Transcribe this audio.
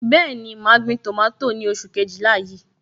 Bẹẹni, ma gbin tomato ni oṣù Kejìlá yìí.